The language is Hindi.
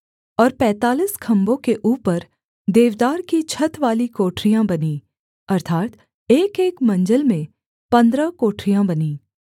और पैंतालीस खम्भों के ऊपर देवदार की छतवाली कोठरियाँ बनीं अर्थात् एकएक मंजिल में पन्द्रह कोठरियाँ बनीं